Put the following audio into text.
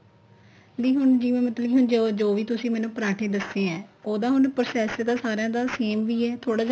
ਦੀ ਹੁਣ ਜਿਵੇਂ ਮਤਲਬ ਵੀ ਜੋ ਵੀ ਤੁਸੀਂ ਮੈਨੂੰ ਪਰਾਂਠੇ ਦੱਸੇ ਏ ਉਹਦਾ ਹੁਣ process ਤਾਂ ਸਾਰਿਆ ਦਾ same ਹੀ ਹੈ ਥੋੜਾ ਜਾ